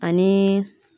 Ani